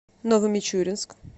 новомичуринск